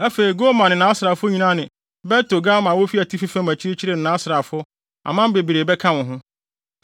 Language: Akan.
afei Gomer ne nʼasraafo nyinaa ne Bet-Togarma a wofi atifi fam akyirikyiri ne nʼasraafo, aman bebree bɛka wo ho.